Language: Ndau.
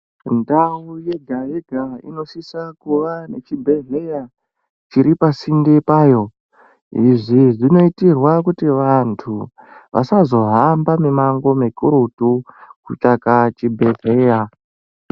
Ndau yega yega inosisa kuva nechibhedhleya chiri pasinde payo izvi zvinoitirwa kuti vanthu vasazohambe mimango mikurutu kutsvaka chibhedhleya.